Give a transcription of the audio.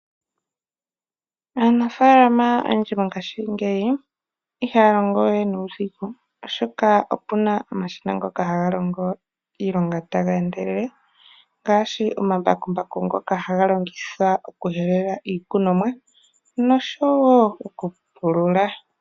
Aanafalama oyendji mongaashi ihaalongowe nuudhigu oshoka opuna omashina ngoka haga longo iilonga tageendelele ngaashi omambakumbaku ngoka haga longithwa okuhelela iimeno nosho woo okupulula.